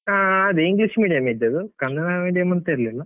ಹಾ ಅದೇ, English medium ಇದ್ದದ್ದು ಕನ್ನಡ medium ಅಂತ ಇರ್ಲಿಲ್ಲ.